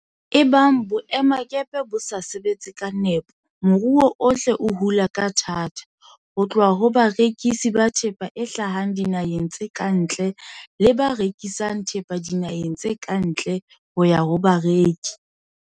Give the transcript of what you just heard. Ebang boemakepe bo sa sebetse ka nepo, moruo ohle o hula ka thata, ho tloha ho barekisi ba thepa e hlahang dinaheng tse ka ntle le ba rekisang thepa dinaheng tse ka ntle ho ya ho bareki.